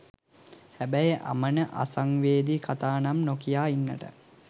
හැබැයි අමන අසංවේදී කතා නම් නොකියා ඉන්නට